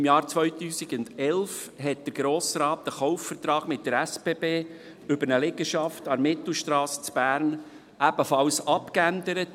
Im Jahr 2011 änderte der Grosse Rat den Kaufvertrag mit der SBB über eine Liegenschaft an der Mittelstrasse in Bern ebenfalls ab.